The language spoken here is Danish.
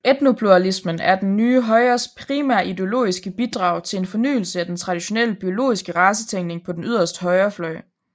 Etnopluralismen er det nye højres primære ideologiske bidrag til en fornyelse af den traditionelle biologiske racetænkning på den yderste højrefløj